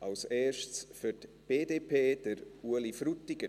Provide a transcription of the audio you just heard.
Zuerst, für die BDP, Ueli Frutiger.